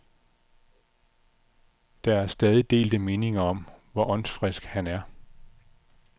Der er stadig delte meninger om, hvor åndsfrisk han er.